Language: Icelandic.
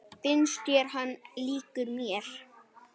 Finnst þér hann líkur mér?